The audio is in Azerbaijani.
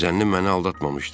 Zənni məni aldatmamışdı.